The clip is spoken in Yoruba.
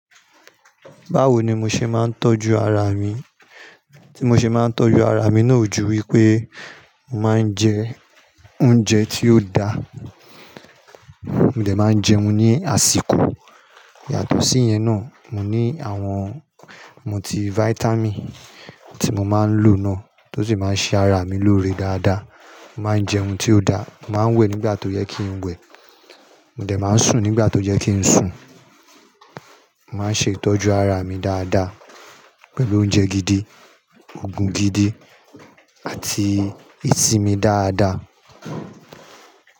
Báwo ni mo ṣe máa ń tọ́jú ara mi? Tí mo ṣe máa ń tọ́jú ara mi náà ju wípé, mo máa ń jẹ oúnjẹ tí ó da, mo dẹ̀ máa jẹun ní àsìkò. Yàtọ̀ sí yẹn náà, mo ní àwọn multi vitamin tí mo máa ń lò náà, tó sì máa ń ṣe ara mi lóore dáadáa. Mo máa ń jẹun tí ó da, mo máa ń wẹ̀ nígbà tó yẹ kí n wẹ̀. Mo dẹ̀ máa ń sùn nígbà tó yẹ kí n sùn. Mo máa ń ṣe ìtọ́jú ara mi dáadáa pẹ̀lú oúnjẹ gidi, oògùn gidi àti ìsimi dáadáa.